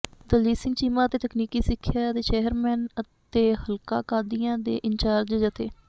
ਦਲਜੀਤ ਸਿੰਘ ਚੀਮਾ ਅਤੇ ਤਕਨੀਕੀ ਸਿੱਖਿਆ ਦੇ ਚੇਅਰਮੈਨ ਅਤੇ ਹਲਕਾ ਕਾਦੀਆਂ ਦੇ ਇੰਚਾਰਜ ਜਥੇ